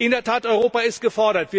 Europa ist gefordert!